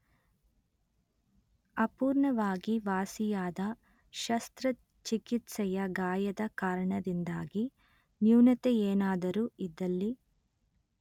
ಅಪೂರ್ಣವಾಗಿ ವಾಸಿಯಾದ ಶಸ್ತ್ರಚಿಕಿತ್ಸೆಯ ಗಾಯದ ಕಾರಣದಿಂದಾಗಿ ನ್ಯೂನತೆಯೇನಾದರೂ ಇದ್ದಲ್ಲಿ